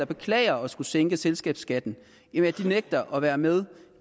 beklager at skulle sænke selskabsskatten nægter at være med